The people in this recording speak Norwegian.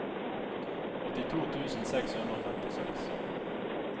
åttito tusen seks hundre og femtiseks